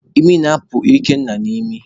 Imi na-apụ Ikenna n'imi